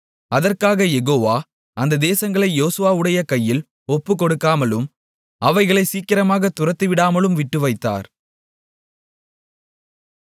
அதற்காகக் யெகோவா அந்த தேசங்களை யோசுவாவுடைய கையில் ஒப்புக்கொடுக்காமலும் அவைகளை சீக்கிரமாகத் துரத்திவிடாமலும் விட்டுவைத்தார்